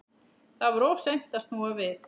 Það var of seint að snúa við.